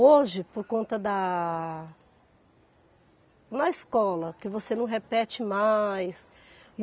Hoje, por conta da Na escola, que você não repete mais.